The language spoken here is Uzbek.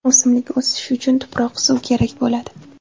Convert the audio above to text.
O‘simlik o‘sishi uchun tuproq, suv kerak bo‘ladi.